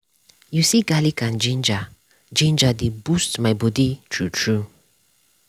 you see garlic and ginger ginger dey boost my body true true